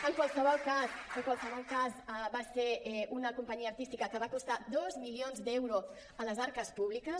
en qualsevol cas va ser una companyia artística que va costar dos milions d’euros a les arques públiques